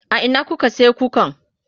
a Ina kuka sayi kukan?